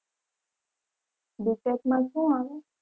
Btech માં શું આવે?